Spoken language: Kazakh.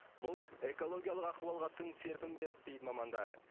бұл экологиялық ахуалға тың серпін берді дейді мамандар